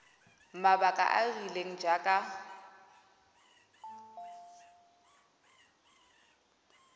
mabaka a a rileng jaaka